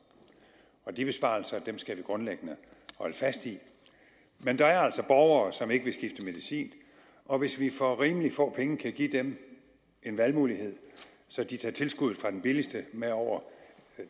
de besparelser skal vi grundlæggende holde fast i men der er altså borgere som ikke vil skifte medicin og hvis vi for rimelig få penge kan give dem en valgmulighed så de tager tilskuddet fra den billigste med over